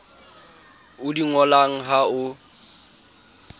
o di ngolang ha o